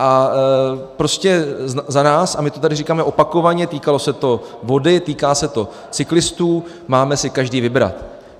A prostě za nás, a my to tady říkáme opakovaně, týkalo se to vody, týká se to cyklistů, máme si každý vybrat.